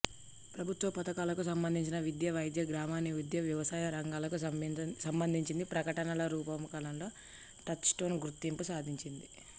ప్రభుత్వ పథకాలకు సంభందించి విద్యా వైద్యం గ్రామీణాభివృద్ధి వ్యవసాయ రంగాలకు సంభందించి ప్రకటనల రూపకల్పనలో టచ్ స్టోన్ గుర్తింపు సాధించింది